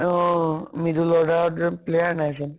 অ middle order ত গৈ player নাই চোন